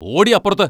പോടീ അപ്പുറത്ത്!